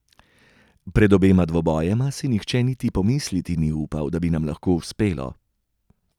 Pred obema dvobojema, si nihče niti pomisliti ni upal, da bi nam lahko uspelo.